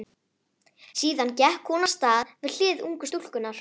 Síðan gekk hún af stað við hlið ungu stúlkunnar.